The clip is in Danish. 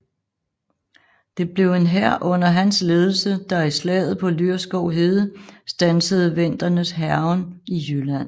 Det blev en hær under hans ledelse der i slaget på Lyrskov Hede standsede vendernes hærgen i Jylland